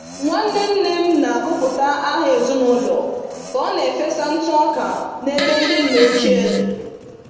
Nwanne nne m na-agụpụta aha ezinụlọ ka ọ na-efesa ntụ ọka n'ebe ndị nna ochie dị.